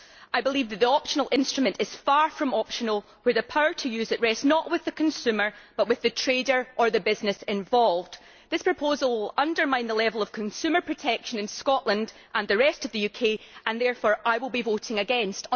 I believe that the optional instrument is far from optional when the power to use it rests not with the consumer, but with the trader or the business involved. This proposal undermines the level of consumer protection in Scotland and the rest of the UK, and therefore I will be voting against.